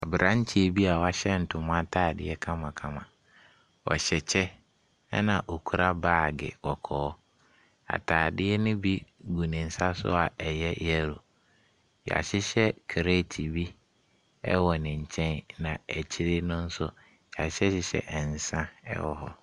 Abranteɛ bi a ɔhyɛ ntoma ataadeɛ kamakama. Ɔhyɛ kyɛ, na okura baage kɔkɔɔ. Ataadeɛ no bi gu ne nsa so a so a ɛyɛ yellow. Yɛahyehyɛ kreeti bi wɔ ne nkyen na akyiri no nso yɛahyeyɛ nsa wɔ hɔ.